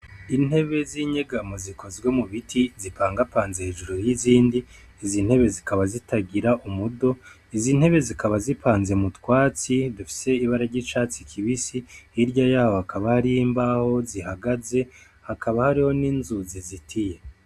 Intebe z'inyegamo zikozwe mu biti, zipangapanze hejuru y'izindi. Izi ntebe zikaba zitagira umudo. Izi ntebe zikaba zipanze mu twatsi dufise ibara ry'icatsi kibisi. Hirya y'aho hakaba hariho imbaho zihagaze. Hakaba hariho n'inzu zizitiye.